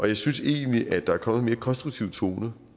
jeg synes egentlig at der er kommet en mere konstruktiv tone